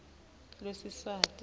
lwesiswati